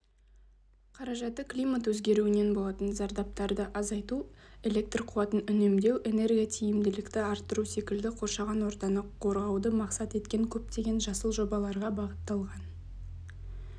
қаражаты климат өзгеруінен болатын зардаптарды азайту электр қуатын үнемдеу энерготиімділікті арттыру секілді қоршаған ортаны қорғауды мақсат еткен көптеген жасыл жобаларға бағытталған